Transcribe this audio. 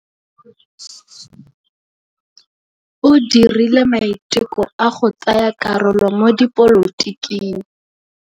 O dirile maitekô a go tsaya karolo mo dipolotiking.